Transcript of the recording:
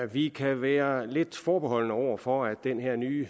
vi kan være lidt forbeholdne over for at den her nye